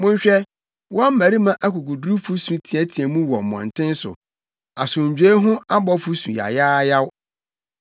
Monhwɛ, wɔn mmarima akokodurufo su teɛteɛɛ mu wɔ mmɔnten so; asomdwoe ho abɔfo su yayaayaw.